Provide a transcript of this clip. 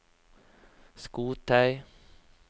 skotøy